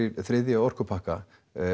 þriðja orkupakka